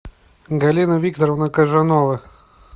галина викторовна кожанова